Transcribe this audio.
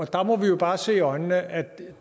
der må vi bare se i øjnene at